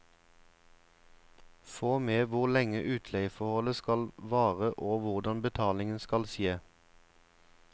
Få med hvor lenge utleieforholdet skal vare og hvordan betalingen skal skje.